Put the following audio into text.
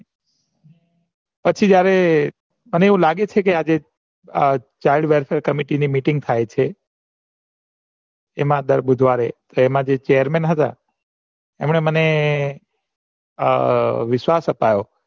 પછી જયારે મને આવું લાગે છે કે અ meeting થઇ છે એમાં દર બુધવારે જે chairman હતા એમને મને અ વિશ્વાસ અપાયો